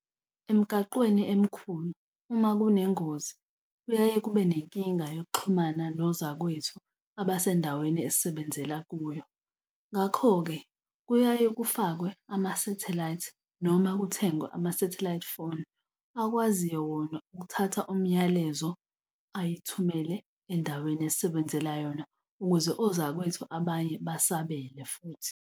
Emgaqweni emkhulu, uma kunengozi, kuyaye kube nenkinga yokuxhumana nozakwethu abasendaweni esisebenzela kuyo, ngakho-ke kuyaye kufakwe amasathelayithi noma kuthengwe amasathelayithi phone akwaziyo wona ukuthatha umyalezo, ayithumele endaweni esisebenzela yona, ukuze ozakwethu abanye basabele futhi.